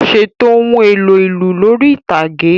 Ṣètò ohun èlò ìlù lórí ìtàgé.